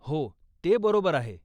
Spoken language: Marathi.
हो, ते बरोबर आहे.